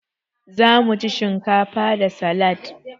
Zamu ci shinkafa da salad.